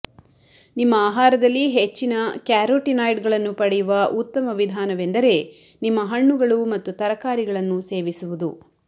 ನಿಮ್ಮ ಆಹಾರದಲ್ಲಿ ಹೆಚ್ಚಿನ ಕ್ಯಾರೊಟಿನಾಯ್ಡ್ಗಳನ್ನು ಪಡೆಯುವ ಉತ್ತಮ ವಿಧಾನವೆಂದರೆ ನಿಮ್ಮ ಹಣ್ಣುಗಳು ಮತ್ತು ತರಕಾರಿಗಳನ್ನು ಸೇವಿಸುವುದು